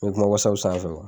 E be kuma wasapu sanfɛ wa